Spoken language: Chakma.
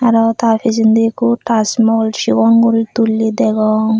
arow ta pijendi ikko tasmol sibong guri tulley degong.